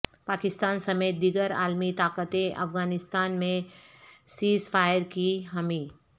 پاکستان سمیت دیگر عالمی طاقتیں افغانستان میں سیزفائر کی حامی